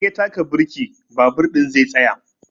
In ya taka birki babur ɗin zai tsaya.